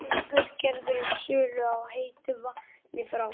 Samningur gerður um sölu á heitu vatni frá